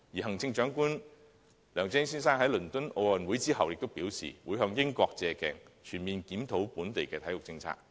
行政長官梁振英先生亦在倫敦奧運會結束後表示會借鏡英國，全面檢討本地體育政策。